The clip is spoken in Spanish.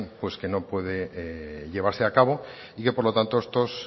no puede llevarse a cabo y que por lo tanto estos